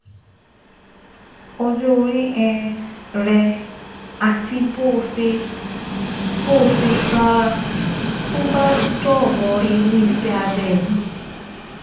Ọjọ́ orí um rẹ àti bó o ṣe bó o ṣe sanra tó bá dọ̀rọ̀ irú iṣẹ́ abẹ yìí